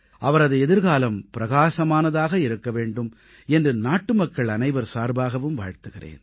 அவரது எதிர்காலம் பிரகாசமானதாக இருக்க வேண்டும் என்று நாட்டுமக்கள் அனைவர் சார்பாகவும் வாழ்த்துகிறேன்